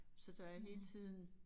Så der er hele tiden